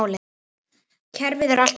Kerfið er alltaf eins.